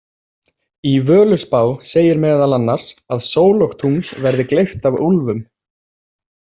Í Völuspá segir meðal annars að sól og tungl verði gleypt af úlfum.